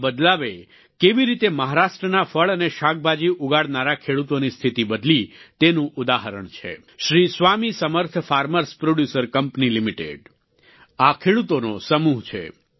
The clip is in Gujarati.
આ બદલાવે કેવી રીતે મહારાષ્ટ્રના ફળ અને શાકભાજી ઉગાડનારા ખેડૂતોની સ્થિતી બદલી તેનું ઉદાહરણ છે શ્રી સ્વામી સમર્થ farmerએસ પ્રોડ્યુસર કંપની લિમિટેડ આ ખેડૂતોનો સમૂહ છે